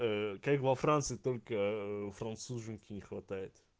как во франции только француженки не хватает